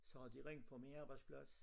Så har de ringet fra min arbejdsplas